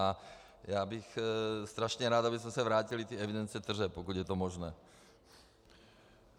A já bych strašně rád, abychom se vrátili k evidenci tržeb, pokud je to možné.